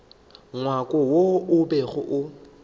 ngwako wo o bego o